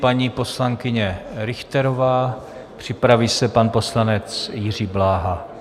Paní poslankyně Richterová, připraví se pan poslanec Jiří Bláha.